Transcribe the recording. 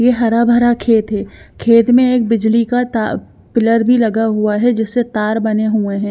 यह हरा भरा खेत है खेत में एक बिजली का ता पिलर भी लगा हुआ है जिससे तार बने हुए हैं।